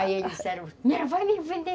Aí eles disseram, vai me vender.